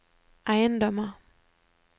eiendommer